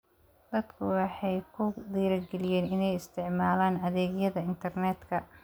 Dadku waxay ku dhiirigeliyeen inay isticmaalaan adeegyada internetka.